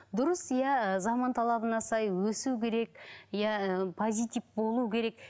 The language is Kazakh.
дұрыс иә заман талабына сай өсу керек иә позитив болу керек